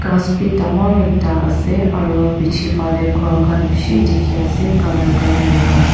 Ghas bhi dangor ekta ase aro bechi phale ghor khan beshi dekhe ase colour colour laga.